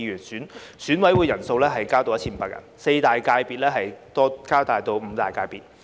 選委人數增至 1,500 人，四大界別增至五大界別。